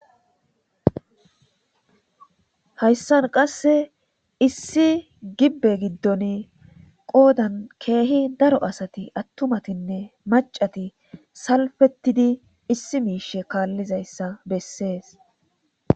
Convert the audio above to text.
hayssan qase issi gibbe giddon qoodan keehi daro asati attumatinne maccati salfettidi issi miishe kaallizayssa bessees